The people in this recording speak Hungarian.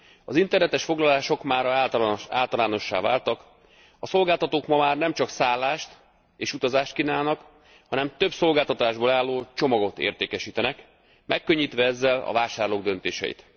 Az internetes foglalások mára általánossá váltak, a szolgáltatók ma már nemcsak szállást és utazást kínálnak, hanem több szolgáltatásból álló csomagot értékesítenek, megkönnyítve ezzel a vásárlók döntéseit.